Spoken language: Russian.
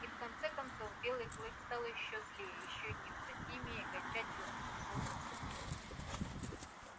и в конце концов белый клык стал ещё злее ещё неукротимее и окончательно замкнулся в себе